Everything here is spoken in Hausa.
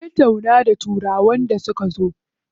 Sun tattauna da turawan da suka zo.